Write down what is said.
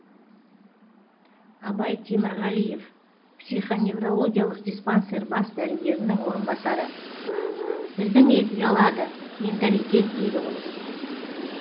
абай темірғалиев психоневрологиялық диспансер бас дәрігерінің орынбасары біздің ел ұялады менталитет дейді ғой